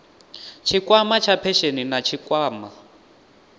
tshikwama tsha phesheni na tshikwama